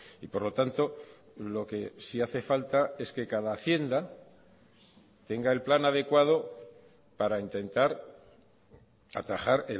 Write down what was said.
y por lo tanto lo que sí hace falta es que cada hacienda tenga el plan adecuado para intentar atajar